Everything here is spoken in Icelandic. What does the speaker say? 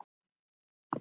Svör og svör ekki.